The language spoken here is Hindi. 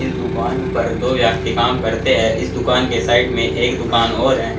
इस दुकान पर दो व्यक्ति काम करते हैं इस दुकान के साइड में एक दुकान और है।